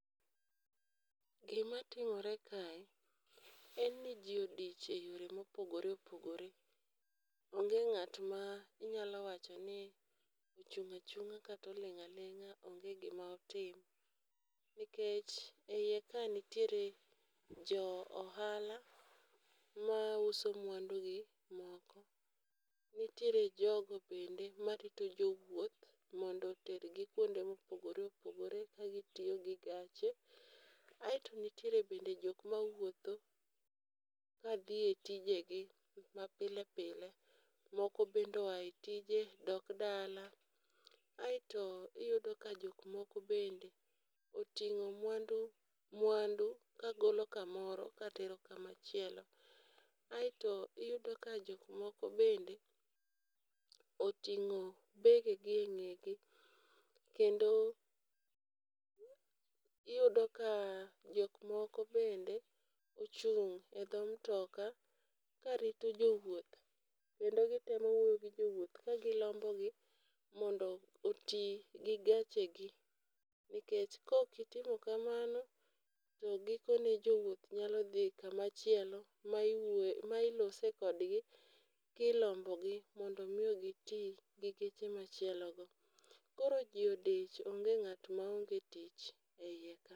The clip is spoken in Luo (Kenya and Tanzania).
Gima timore kae, en ji odich e yore mopogore opogore, onge ng'at ma inyalo wacho ni ochung' ochang'a kata oling' aling'a onge gima otim, nikech e ie kae nitiere jo ohala ma uso mwandugi moko, nitiere jogo bende marito jo wuoth mondo otergi kuonde mopogore opogore kagi tiyo gi gache. Aeto nitiere bende jok ma wuotho ka dhi e tijegi ma pile pile, moko bende oa e tije dok dala. Aeto iyudo ka jok moko bende oting'o mwandu mwandu kagolo kamaro katero kamachielo. Aeto iyudo ka jok moko bende oting'o begegi e ng'egi, kendo iyudo ka jok moko bende ochung' e dho mtoka karito jo wuoth kendo gitemo wuoyo gi jo wuoth ka gilombo gi mondo oti gi gechegi, nikech ka ok itimo kamano to gikone jo wuoth nyalo dhi kama chielo ma iwuoe ma ilose kogdi kilombogi mondo mi giti geche machielo go. Koro ji odich onge ng'at ma onge tich ei ka.